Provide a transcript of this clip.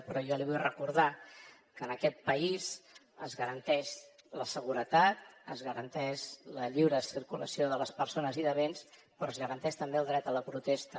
però jo li vull recordar que en aquest país es garanteix la seguretat es garanteix la lliure circulació de les persones i de béns però es garanteix també el dret a la protesta